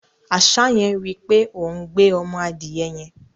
Àṣá yẹn rí í pé òún gbé ọmọ adìẹ yẹn.